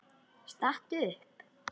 Stattu upp!